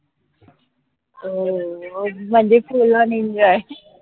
अं म्हनजे fullonenjoy